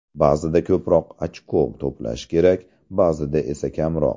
Ba’zida ko‘proq ochko to‘plash kerak, ba’zida esa kamroq.